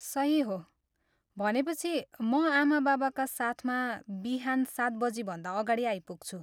सही हो। भनेपछि म आमाबाबाका साथमा बिहान सात बजीभन्दा अगाडि आइपुग्छु।